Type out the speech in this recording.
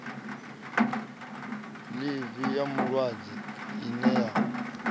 ḽivi ya vhulwadze ine ya